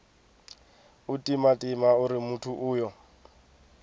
u timatima uri muthu uyo